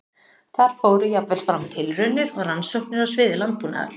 Þar fóru jafnvel fram tilraunir og rannsóknir á sviði landbúnaðar.